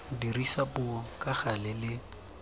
dirisa puo ka gale le